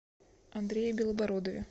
андрее белобородове